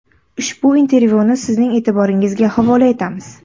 Ushbu intervyuni sizning e’tiboringizga havola etamiz.